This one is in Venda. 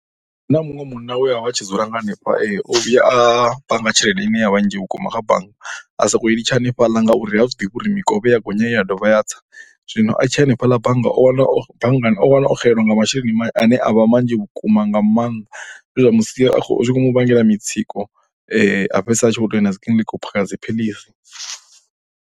Hu na muṅwe munna we a vha tshi dzula nga hanefha o vhuya a panga tshelede ine ya vha nnzhi vhukuma kha bannga, a sokou litsha hanefhaḽa ngauri ha zwi ḓivhi uri mikovhe i ya gonya i ya dovha ya tsa. Zwino a tshi ya hanefhaḽa bannga o wana, bannga o wana o xelelwa nga masheleni ane a vha vhanzhi vhukuma nga maanḓa zwe zwa mu sia zwi khou mu vhangela mitsiko a fhedzisela a tshi vho tou ya na dzi kiḽiniki u phakha dzi phiḽisi.